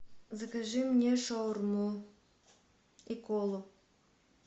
закажи мне шаурму и колу